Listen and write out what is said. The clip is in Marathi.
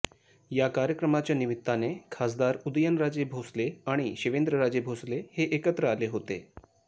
या कार्यक्रमाच्या निमित्ताने खासदार उदयनराजे भोसले आणि शिवेंद्रराजे भोसले हे एकत्र आले होते